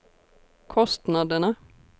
kostnaderna